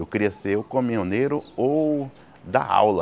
Eu queria ser ou camioneiro ou dar aula.